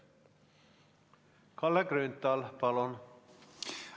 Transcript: Kalle Grünthal, palun!